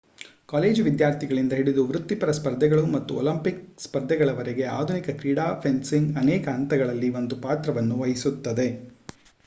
college ವಿದ್ಯಾರ್ಥಿಗಳಿಂದ ಹಿಡಿದು ವೃತ್ತಿಪರ ಸ್ಪರ್ಧೆಗಳು ಮತ್ತು ಒಲಿಂಪಿಕ್ ಸ್ಪರ್ಧೆಗಳವರೆಗೆ ಆಧುನಿಕ ಕ್ರೀಡಾ ಫೆನ್ಸಿಂಗ್ ಅನೇಕ ಹಂತಗಳಲ್ಲಿ ಒಂದು ಪಾತ್ರವನ್ನು ವಹಿಸುತ್ತದೆ